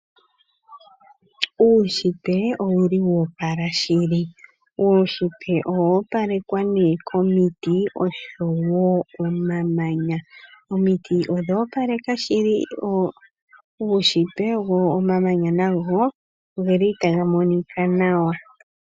Uushitwe owo opala shili. Uunshitwe owo opalekwa nee komiti oshowo omamanya. Omiti odha opala shili nomamanya otaga monika nawa.